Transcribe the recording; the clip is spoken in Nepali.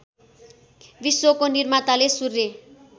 विश्वको निर्माताले सूर्य